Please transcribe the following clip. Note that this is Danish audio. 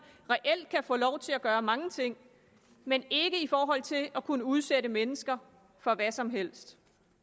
reelt kan få lov til at gøre mange ting men ikke i forhold til at kunne udsætte mennesker for hvad som helst